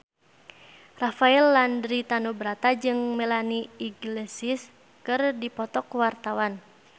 Rafael Landry Tanubrata jeung Melanie Iglesias keur dipoto ku wartawan